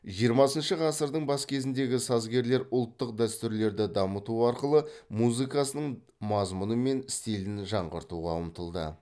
жиырмасыншы ғасырдың бас кезіндегі сазгерлер ұлттық дәстүрлерді дамыту арқылы музыкасының мазмұны мен стилін жаңғыртуға ұмтылды